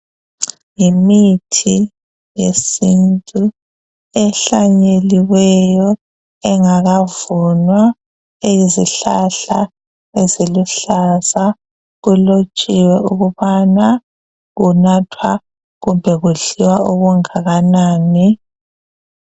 Yimithi yesintu ehlanyeliweyo engakavunwa, eyizihlahla eziluhlaza. Kulotshiwe ukubana ukunathwa kumbe kudliwa okungakanani.